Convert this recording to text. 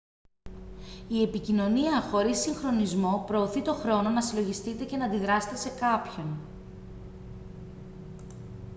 η επικοινωνία χωρίς συγχρονισμό προωθεί το χρόνο να συλλογιστείτε και να αντιδράσετε σε κάποιον